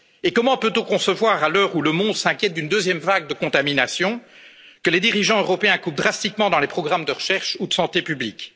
Et comment peut on concevoir, à l'heure où le monde s'inquiète d'une deuxième vague de contaminations, que les dirigeants européens coupent drastiquement dans les programmes de recherche et de santé publique?